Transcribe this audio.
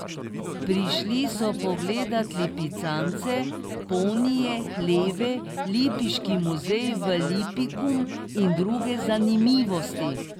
Prišli so pogledat lipicance, ponije, hleve, lipiški muzej Lipikum in druge zanimivosti.